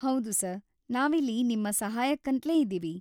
ಹೌದು ಸರ್‌, ನಾವಿಲ್ಲಿ ನಿಮ್ಮ ಸಹಾಯಕ್ಕಂತ್ಲೇ ಇದೀವಿ.